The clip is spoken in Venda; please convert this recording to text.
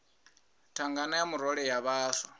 thangana ya murole ya vhaswa